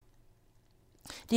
DR2